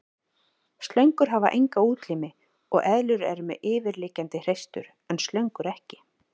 Slöngur hafa enga útlimi og eðlur eru með yfirliggjandi hreistur en slöngur ekki.